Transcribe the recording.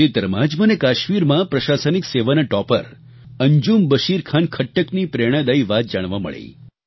તાજેતરમાં જ મને કાશ્મીરમાં પ્રશાસનિક સેવાના ટૉપર અંજુમ બશીર ખાન ખટ્ટકની પ્રેરણાદાયી વાત જાણવા મળી